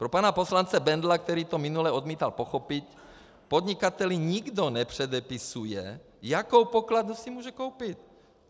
Pro pana poslance Bendla, který to minule odmítal pochopit: Podnikateli nikdo nepředepisuje, jakou pokladnu si může koupit.